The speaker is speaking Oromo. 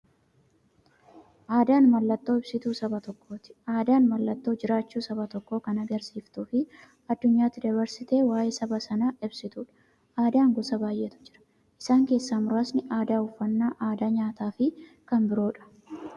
Aadaan mallattoo ibsituu saba tokkooti. Aadaan mallattoo jiraachuu saba tokkoo kan agarsiistufi addunyyaatti dabarsitee waa'ee saba sanaa ibsituudha. Aadaan gosa baay'eetu jira. Isaan keessaa muraasni aadaa, uffannaa aadaa nyaataafi kan biroodha.